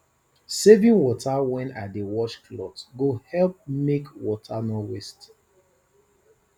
saving water when i dey wash cloth go help make water no waste